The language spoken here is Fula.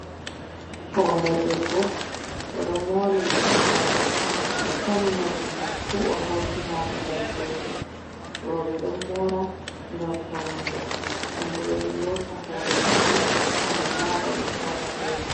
Hore debbo o don mori mordi mako o tami morɗi man fu o hauti ha babal gotel, roɓe don mora gam faunugo, ɗon bo be ɗon lota hore mabbe gam laba ɓe fauna be man.